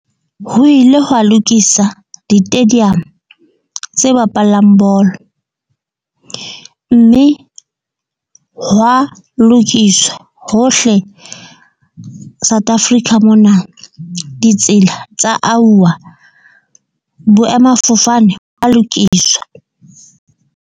Ho ile hwa lokisa ditadium tse bapalang bolo. Mme hwa lokiswa hohle South Africa mona ditsela tsa auwa boemafofane ba lokiswa.